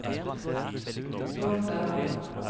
Rovde